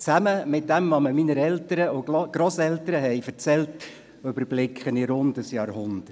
Zusammen mit dem, was mir meine Eltern und Grosseltern erzählt haben, überblicke ich rund ein Jahrhundert.